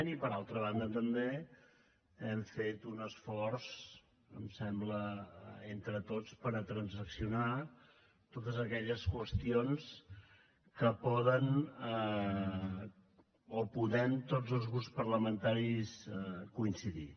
i per altra banda també hem fet un esforç em sembla entre tots per transaccionar totes aquelles qüestions en què poden o podem tots els grups parlamentaris coincidir